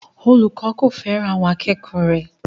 Olùkọ́ kò fẹ́ràn àwọn akẹ́kọ̀ọ́ rẹ̀